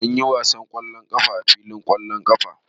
Mun yi wasan ƙwallon ƙafa a filin ƙwallon ƙafa.